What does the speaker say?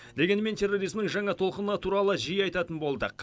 дегенмен терроризмнің жаңа толқыны туралы жиі айтатын болдық